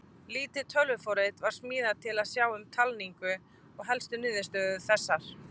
Lítið tölvuforrit var smíðað til að sjá um talninguna og helstu niðurstöður eru þessar: